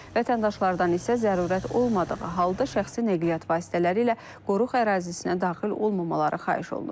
Vətəndaşlardan isə zərurət olmadığı halda şəxsi nəqliyyat vasitələri ilə qoruq ərazisinə daxil olmamaları xahiş olunur.